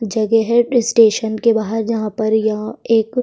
जगह है स्टेशन के बाहर जहाँ पर यह एक --